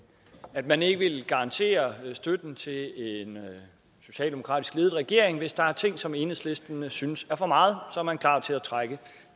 at man ikke vil garantere støtten til en socialdemokratisk ledet regering hvis der er ting som enhedslisten synes er for meget så er man klar til at trække